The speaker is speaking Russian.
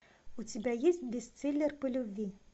у тебя есть бестселлер по любви